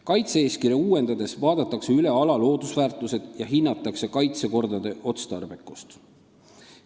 Kaitse-eeskirja uuendades vaadatakse üle ala loodusväärtused ja hinnatakse kaitsekorra otstarbekust.